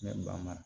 Ne ba ma